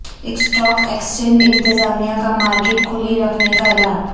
stock exchange انتظامیہ کا market کھلی رکھنے کا اعلان